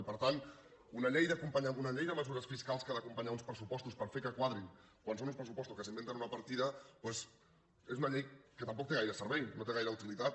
i per tant una llei de mesures de mesures fiscals que ha d’acompanyar uns pressupostos per fer que quadrin quan són uns pressupostos que s’inventen una partida doncs és una llei que tampoc té gaire servei no té gaire utilitat